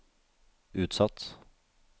utsatt